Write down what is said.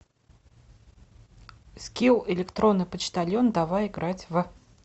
скилл электронный почтальон давай играть в